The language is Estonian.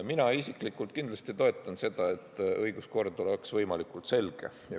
Mina isiklikult kindlasti toetan seda, et õiguskord oleks võimalikult selge.